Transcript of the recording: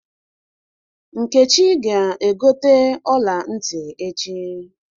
Nkechi ga-egote ọla ntị echi.